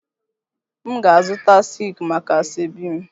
M ga-azụta silki maka asoebi m